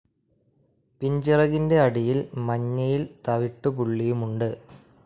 പിൻചിറകിന്റെ അടിയിൽ മഞ്ഞയിൽ തവിട്ടുപുള്ളിയുമുണ്ട്.